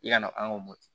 I ka na an k'o mɔ